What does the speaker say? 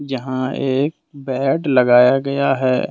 यहां एक बेड लगाया गया है।